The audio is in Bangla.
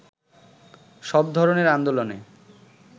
সব ধরণের আন্দোলনে